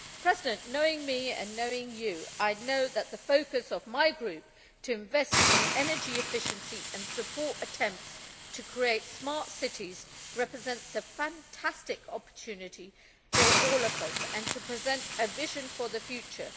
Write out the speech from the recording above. Mr President, knowing me and knowing you, I know that the focus of my group, to invest in energy efficiency and support attempts to create smart cities represents a fantastic opportunity for all of us and presents a vision for the future.